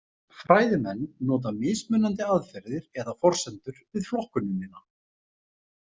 Fræðimenn nota mismunandi aðferðir eða forsendur við flokkunina.